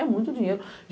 É muito dinheiro.